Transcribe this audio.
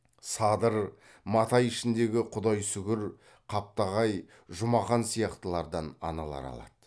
садыр матай ішіндегі құдайсүгір қаптағай жұмақан сияқтылардан аналар алады